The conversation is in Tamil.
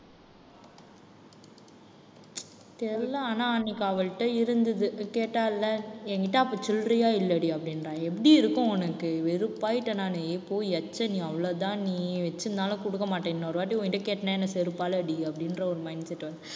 தெரியல ஆனா அன்னைக்கு அவள்ட்ட இருந்தது கேட்டால்ல என்கிட்ட அப்ப சில்லறையா இல்லடி அப்படின்றா எப்படி இருக்கும் உனக்கு? வெறுப்பாய்ட்ட நானு. ஏய் போ எச்ச நீ அவ்வளவுதான் நீ வச்சுருந்தாலும் குடுக்க மாட்ட இன்னொரு வாட்டி உன்கிட்ட கேட்டேன்னா என்னை செருப்பால அடி அப்படின்ற, ஒரு mindset வந்~